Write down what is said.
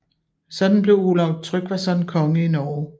Sådan blev Olav Tryggvason konge i Norge